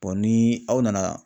ni aw nana